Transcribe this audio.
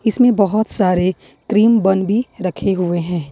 इसमें बहोत सारे क्रीम बन भी रखे हुए हैं।